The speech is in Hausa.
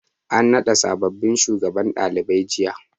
An naɗa sabobbin shugabannin ɗalibai jiya.